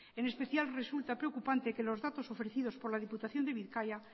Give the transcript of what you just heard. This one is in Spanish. en especial resulta preocupante que los datos ofrecidos por la diputación de bizkaia